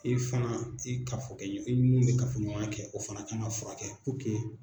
I fana i kafokɛɲɔgɔn i ni mun bɛ kafoɲɔgɔnya kɛ o fana kan ka furakɛ